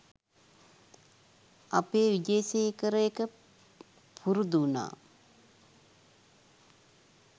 අපේ විජේසේකර එක පුරුදු උනා